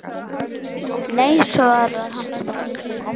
Nei svarar hann strax.